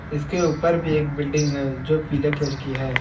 इसके ऊपर भी एक बिल्डिंग है जो पीले कलर की है।